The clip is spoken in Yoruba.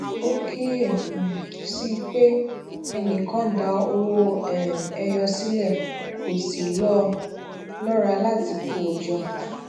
ó kíyè um sí i pé ẹnì kan da owó um ẹyọ sílè kò sì ló lora láti kó o jọ